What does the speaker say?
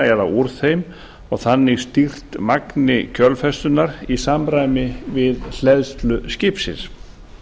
eða úr þeim og þannig stýrt magni kjölfestunnar í samræmi við hleðslu skipsins